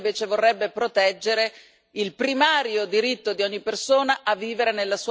il primario diritto di ogni persona a vivere nella sua patria e a non emigrare.